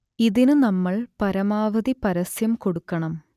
ഇതിനു നമ്മൾ പരമാവധി പരസ്യം കൊടുക്കണം